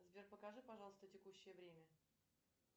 сбер покажи пожалуйста текущее время